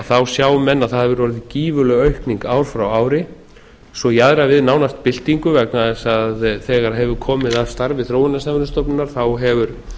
þá sjá menn að það hefur orðið gífurleg aukning ár frá ári svo jaðrar við nánast byltingu vegna þess að þegar hefur komið að starfi þróunarsamvinnustofnunar hefur